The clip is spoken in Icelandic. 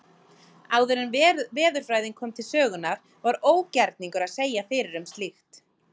Áður en veðurfræðin kom til sögunnar var ógerningur að segja fyrir um slíkt.